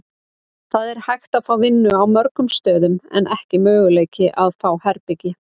Það er hægt að fá vinnu á mörgum stöðum en ekki möguleiki að fá herbergi.